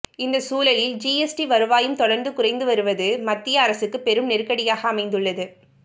இந்த சூழலில் ஜிஎஸ்டி வருவாயும் தொடர்ந்து குறைந்து வருவது மத்திய அரசுக்கு பெரும் நெருக்கடியாக அமைந்துள்ளது